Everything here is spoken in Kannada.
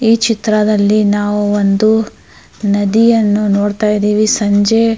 ಈ ಚಿತ್ರದಲ್ಲಿ ನಾವು ಒಂದು ನದಿಯನು ನೋಡತಾ ಇದೀವಿ ಸಂಜೆ --